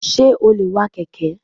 Sé o lè wa kèké?